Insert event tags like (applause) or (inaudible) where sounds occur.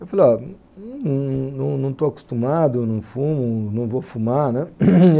Eu falei, olha, não não estou acostumado, não fumo, não vou fumar, né? (coughs)